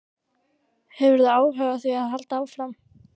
Hefurðu hug á því að halda áfram?